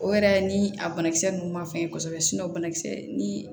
O yɛrɛ ni a banakisɛ ninnu ma fɛn ye kosɛbɛ banakisɛ ni